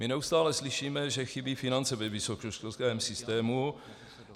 My neustále slyšíme, že chybí finance ve vysokoškolském systému.